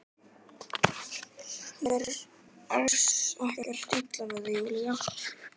Mér er alls ekkert illa við þig Júlía.